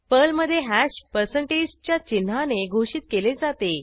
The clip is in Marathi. पर्लमधे हॅश पर्सेंटेज च्या चिन्हाने घोषित केले जाते